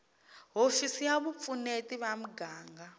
hofisi ya vupfuneti va muganga